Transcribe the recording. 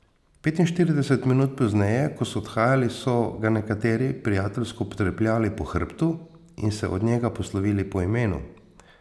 Petinštirideset minut pozneje, ko so odhajali, so ga nekateri prijateljsko potrepljali po hrbtu in se od njega poslovili po imenu.